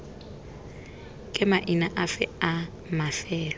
ke maina afe a mafelo